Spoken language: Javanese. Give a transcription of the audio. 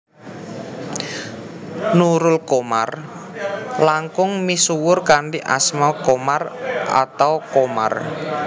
Nurul Qomar langkung misuwur kanthi asma Komar atau Qomar